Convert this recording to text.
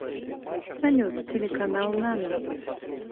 салют телеканал нано